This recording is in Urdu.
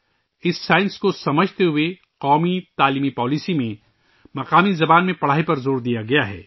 اس سائنس کو سمجھتے ہوئے ہی قومی تعلیمی پالیسی میں مقامی زبان میں تعلیم پر زور دیا گیا ہے